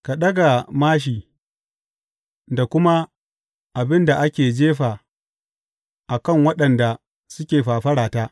Ka ɗaga māshi da kuma abin da ake jefa a kan waɗanda suke fafarata.